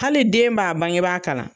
Hali den b'a bangebaa kalan.